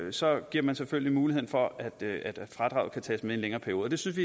så giver man selvfølgelig mulighed for at fradraget kan tages med en længere periode det synes